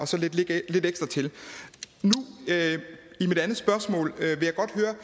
så lidt ekstra til i mit andet spørgsmål vil